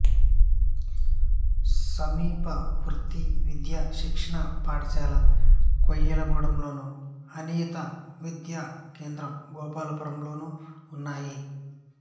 సమీప వృత్తి విద్యా శిక్షణ పాఠశాల కొయ్యలగూడెం లోను అనియత విద్యా కేంద్రం గోపాలపురంలోనుఉన్నాయి